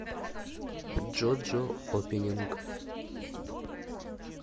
джоджо опенинг